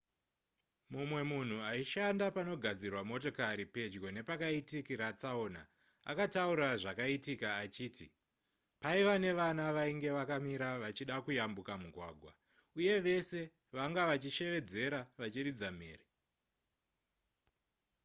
mumwe munhu aishanda panogadzirwa motokari pedyo nepakaitikira tsaona akataura zvakaitika achiti paiva nevana vainge vakamira vachida kuyambuka mugwagwa uye vese vanga vachishevedzera vachiridza mhere